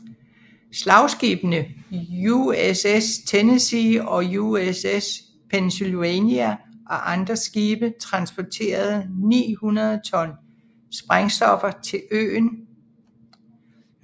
Slagskibene USS Tennessee og USS Pennsylvania og andre skibe transportede 900 ton sprængstoffer til øen